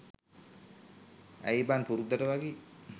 ඇයි බන් පුරුද්දට වගේ